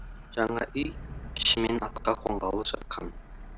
жаңа үй ішімен атқа қонғалы жатқан